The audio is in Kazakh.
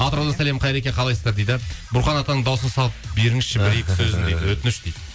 атыраудан сәлем қайреке қалайсыздар дейді бұрқан атаның дауысын салып беріңізші өтініш дейді